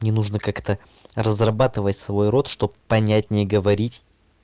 не нужно как-то разрабатывать свой рот чтобы понять не говорить